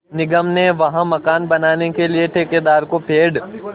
निगम ने वहाँ मकान बनाने के लिए ठेकेदार को पेड़